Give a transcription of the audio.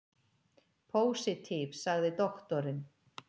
Pósitív, sagði doktorinn.